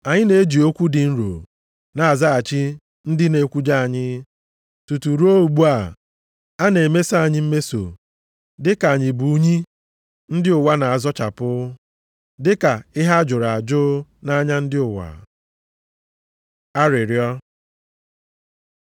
Anyị na-eji okwu dị nro na-azaghachi ndị na-ekwujọ anyị. Tutu ruo ugbu a, a na-emeso anyị mmeso dịka anyị bụ unyi ndị ụwa na-azachapụ, dịka ihe a jụrụ ajụ nʼanya ndị ụwa. Arịrịọ